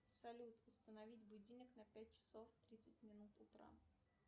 салют установить будильник на пять часов тридцать минут утра